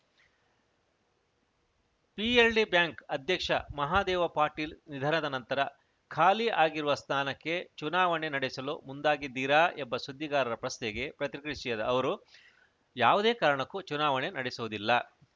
PLD bank ಅಧ್ಯಕ್ಷ ಮಹಾದೇವ ಪಾಟೀಲ ನಿಧನದ ನಂತರ ಖಾಲಿ ಆಗಿರುವ ಸ್ನಾನಕ್ಕೆ ಚುನಾವಣೆ ನಡೆಸಲು ಮುಂದಾಗಿದ್ದಿರಾ ಎಂಬ ಸುದ್ದಿಗಾರರ ಪ್ರಶ್ನೆಗೆ ಪ್ರತ್ರಿಯಿಸಿದ ಅವರು ಯಾವುದೇ ಕಾರಣಕ್ಕೂ ಚುನಾವಣೆ ನಡೆಸುವುದಿಲ್ಲ